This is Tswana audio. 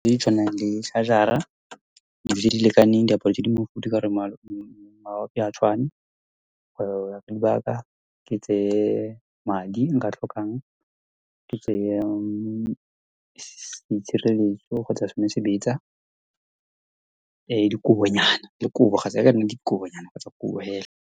Di tshwanang le charger-a, dijo tse di lekaneng, diaparo tse di mofutho, ka gore ha tshwane, dibaka ke tseye madi, nka tlhokang ke tseye, seitshireletso kgotsa sone sebetsa, dikobonyana le kobo, kgotsa le ha e ka nna dikobonyana kgotsa kobo hela.